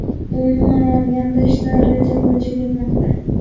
Umuman olganda ishlar reja bo‘yicha ketmoqda.